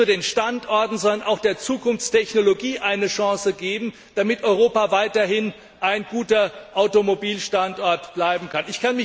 Wir müssen nicht nur den Standorten, sondern auch der Zukunftstechnologie eine Chance geben, damit Europa weiterhin ein guter Automobilstandort bleiben kann.